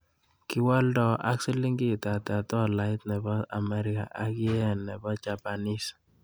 Kiwoldo ak siling ata tolait ne po ameriga ak yen ne po chapanese